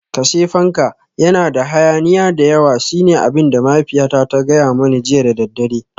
Kashe fanka, yana da hayaniya da yawa shine abin da mahaifiyata ta gaya mani jiya da daddare